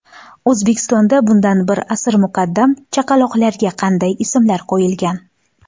O‘zbekistonda bundan bir asr muqaddam chaqaloqlarga qanday ismlar qo‘yilgan?